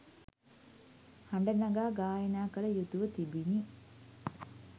හඬ නගා ගායනා කළ යුතුව තිබිණි.